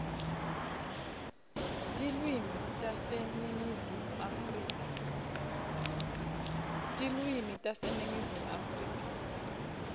tilwimi taseningizimu afrika